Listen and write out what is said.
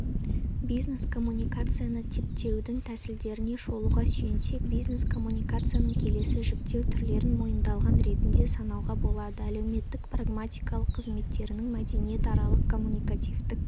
бизнес-коммуникацияны типтеудің тәсілдеріне шолуға сүйенсек бизнес-коммуникацияның келесі жіктеу түрлерін мойындалған ретінде санауға болады әлеуметтік-прагматикалық қызметтерінің мәдениетаралық коммуникативтік